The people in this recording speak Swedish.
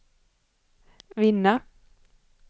vinna